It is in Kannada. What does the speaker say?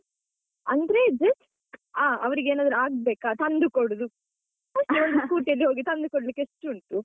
ಅಂದ್ರೆ just ಹಾ ಅವರಿಗೆ ಏನಾದ್ರು ಆಗ್ಬೇಕಾ ತಂದು ಕೊಡುದು, ಅಷ್ಟೇ ಒಂದು Scotty ಯಲ್ಲಿ ಹೋಗಿ ತಂದು ಕೊಡ್ಲಿಕ್ಕೆ ಎಷ್ಟು ಉಂಟು?